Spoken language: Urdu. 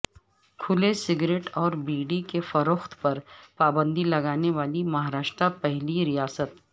کھلے سگریٹ اور بیڑی کے فروخت پر پابندی لگانے والی مہاراشٹرا پہلی ریاست